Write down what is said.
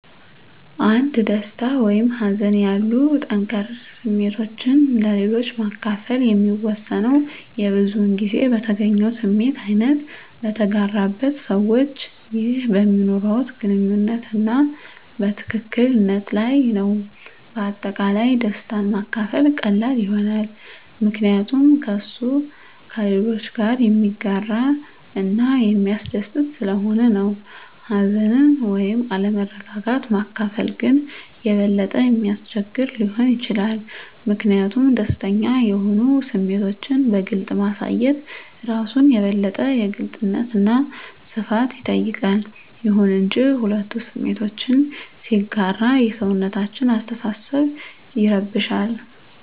አንድ ደስታ ወይም ሀዘን ያሉ ጠንከር ስሜቶችን ለሌሎች ማከፈል የሚወሰነው የብዙዉን ጊዜ በተገኘው ስሜት አይነት፣ በተጋራበት ሰዋች ይህ በሚኖርዋት ግንኙነት አና ትክክል ነት ለይ ነዉ። በአጠቃላይ ደስታን ማካፈል ቀላል ይሆናል ምከንያቱም እሱ ከሌሎች ጋረ የሚያጋረ እና የሚስደስት ሰለሆነ ነው። ሀዘንን ወይም አለመረጋጋት ማካፈል ግን የበለጠ የሚያስቸግር ሊሆን ይችላል ሚኪንያቱም ደስተኛ የሆኑ ስሜቶችን በግልፅ ማሳየት እራሱን የበለጠ የግልጽነት አና ሰፋት ይጠይቃል። ይሁን እንጂ፣ ሁለቱ ስሜቶችን ሲጋራ የሰውነታችን አሰተሳሰብ ይረብሻል